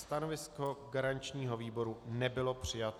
Stanovisko garančního výboru nebylo přijato.